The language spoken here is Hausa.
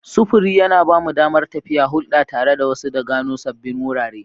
Sufuri yana ba mu damar tafiya, hulɗa tare da wasu, da gano sabbin wurare.